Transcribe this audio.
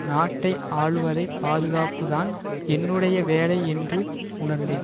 நாட்டை ஆளுவதை பாதுகாக்கப்பதுதான் என்னுடைய வேலை என்று உணர்ந்தேன்